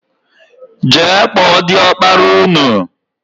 Jee kpọọ diọkpara ụnụ!!!!